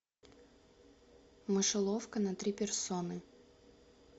мышеловка на три персоны